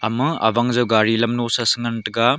ema abang jow gaari lam nu sho no te ngan taiga.